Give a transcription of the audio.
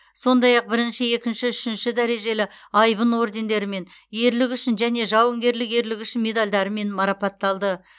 сондай ақ бірінші екінші үшінші дәрежелі айбын ордендерімен ерлігі үшін және жауынгерлік ерлігі үшін медальдарымен марапатталды